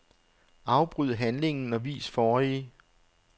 Afbryd handlingen og vis forrige.